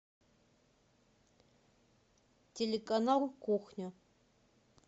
телеканал кухня